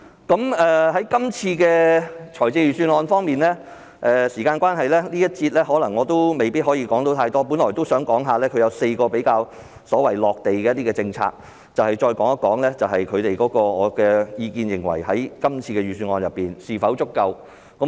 對於今次的財政預算案，時間關係，我在這個環節未必可以說太多，我本來都想談及4個比較"落地"的政策，再談談我的意見，在今次的預算案當中是否足夠。